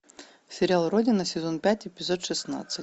сериал родина сезон пять эпизод шестнадцать